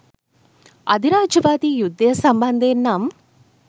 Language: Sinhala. අධිරාජ්‍යවාදී යුද්ධය සම්බන්ධයෙන් නම්